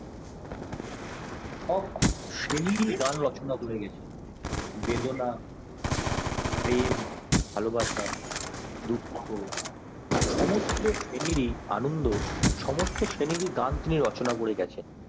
এবং শ্রেণীর গান রচনা করে গেছেন বেদনা প্রেম ভালোবাসা দুঃখ সমস্ত শ্রেণীর ই আনন্দ সমস্ত শ্রেণীর গান তিনি রচনা করে গেছেন